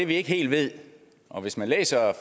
vi ikke helt ved og hvis man læser